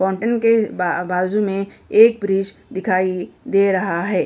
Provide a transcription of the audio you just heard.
Fountain के ब बाजू में एक ब्रिज दिखाई दे रहा है।